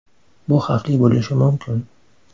Bu xavfli bo‘lishi mumkin.